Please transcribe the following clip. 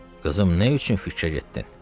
Qızım, nə üçün fikrə getdin?